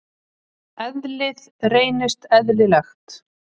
Eðlið reynist eðlilegt.